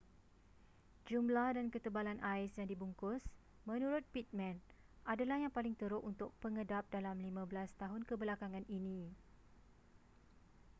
jumlah dan ketebalan ais yang dibungkus menurut pittman adalah yang paling teruk untuk pengedap dalam 15 tahun kebelakangan ini